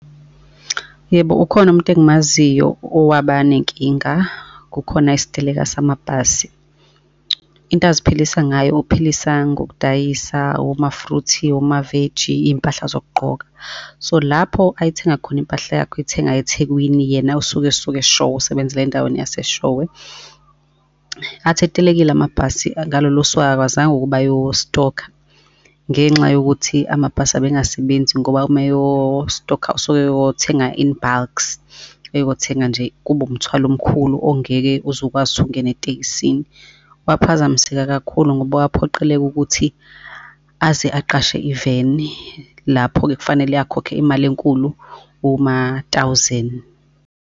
Yebo, ukhona umuntu engimaziyo owaba nenkinga, kukhona isiteleka samabhasi. Into aziphilisa ngayo uphilisa ngokudayisa oma-fruit, omaveji, iy'mpahla zokugqoka. So lapho ayethenga khona impahla yakhe, uyithenga eThekwini yena usuke esuka eShowe, usebenzela endaweni yaseShowe. Athi etelekile amabhasi ngalolo suku akakwazanga ukuba ayo stokha, ngenxa yokuthi amabhasi abengasebenzi ngoba uma eyo stokha osuke uyothenga in bulks, eyothenga nje kube umthwalo omkhulu ongeke uze ukwazi ukuthi ukungena etekisini. Waphazamiseka kakhulu ngoba kwaphoqeleka ukuthi aze aqashe i-van-i, lapho-ke kufanele akhokhe imali enkulu oma-thousand.